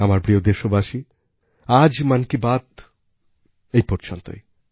আমার প্রিয় দেশবাসী আজ মন কি বাত এই পর্যন্তই